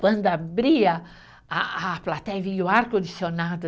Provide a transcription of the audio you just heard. Quando abria a a plateia, vinha o ar condicionado.